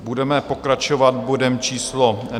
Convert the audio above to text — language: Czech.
Budeme pokračovat bodem číslo